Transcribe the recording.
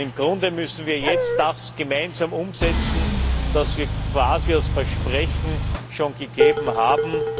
Im Grunde müssen wir jetzt das gemeinsam umsetzen, was wir quasi als Versprechen schon gegeben haben.